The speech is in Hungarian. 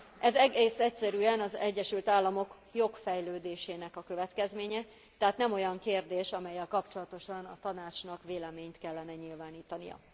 Ez egész egyszerűen az Egyesült Államok jogfejlődésének a következménye, tehát nem olyan kérdés, amellyel kapcsolatosan a Tanácsnak véleményt kellene nyilvánítania.